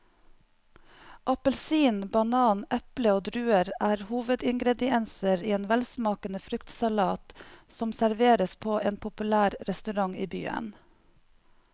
Appelsin, banan, eple og druer er hovedingredienser i en velsmakende fruktsalat som serveres på en populær restaurant i byen.